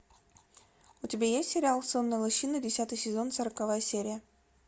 у тебя есть сериал сонная лощина десятый сезон сороковая серия